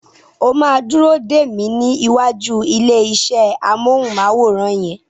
O máa dúró dè mí ní ìwàjú ilé iṣẹ́ amọ́hùnmáwòrán yẹn.